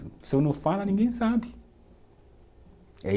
Se eu não falar, ninguém sabe.